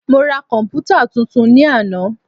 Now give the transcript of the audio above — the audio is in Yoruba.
Mo ra komputa tuntun ní àná.